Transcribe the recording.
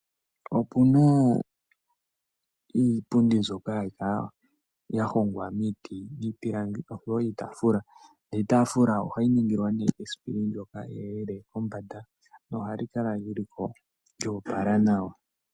Opuna iipundi mbyoka hayi kala ya hongwa miiti niipilangi oshowo iitafula. Niitafula ohayi ningilwa ne esipili ndyoka eyelele lyili kombanda nohali kala lyiliko lyoopala nawa.